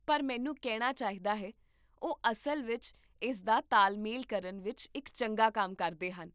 ਪਰ ਮੈਨੂੰ ਕਹਿਣਾ ਚਾਹੀਦਾ ਹੈ, ਉਹ ਅਸਲ ਵਿੱਚ ਇਸ ਦਾ ਤਾਲਮੇਲ ਕਰਨ ਵਿੱਚ ਇੱਕ ਚੰਗਾ ਕੰਮ ਕਰਦੇ ਹਨ